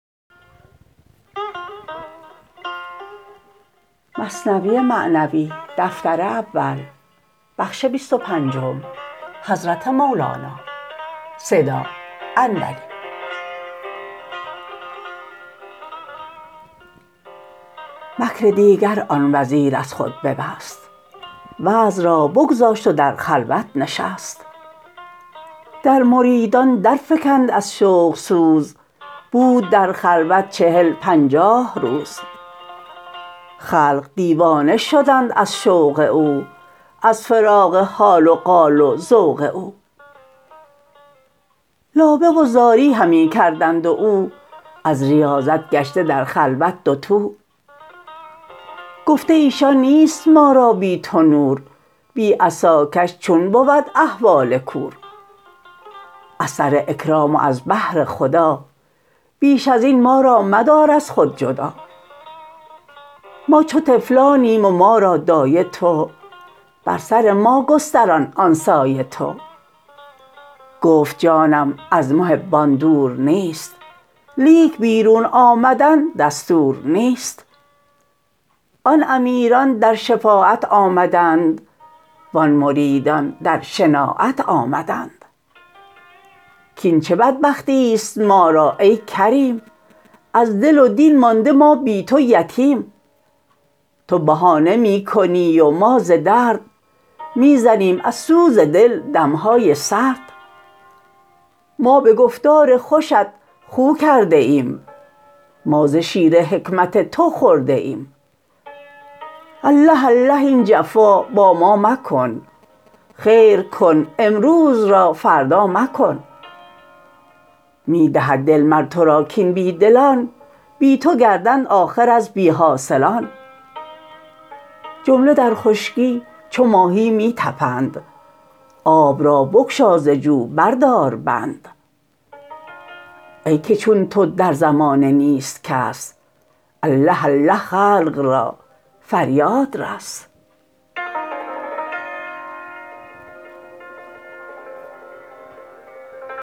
مکر دیگر آن وزیر از خود ببست وعظ را بگذاشت و در خلوت نشست در مریدان در فکند از شوق سوز بود در خلوت چهل پنجاه روز خلق دیوانه شدند از شوق او از فراق حال و قال و ذوق او لابه و زاری همی کردند و او از ریاضت گشته در خلوت دوتو گفته ایشان نیست ما را بی تو نور بی عصاکش چون بود احوال کور از سر اکرام و از بهر خدا بیش ازین ما را مدار از خود جدا ما چو طفلانیم و ما را دایه تو بر سر ما گستران آن سایه تو گفت جانم از محبان دور نیست لیک بیرون آمدن دستور نیست آن امیران در شفاعت آمدند وان مریدان در شناعت آمدند کین چه بدبختیست ما را ای کریم از دل و دین مانده ما بی تو یتیم تو بهانه می کنی و ما ز درد می زنیم از سوز دل دمهای سرد ما به گفتار خوشت خو کرده ایم ما ز شیر حکمت تو خورده ایم الله الله این جفا با ما مکن خیر کن امروز را فردا مکن می دهد دل مر ترا کین بی دلان بی تو گردند آخر از بی حاصلان جمله در خشکی چو ماهی می طپند آب را بگشا ز جو بر دار بند ای که چون تو در زمانه نیست کس الله الله خلق را فریاد رس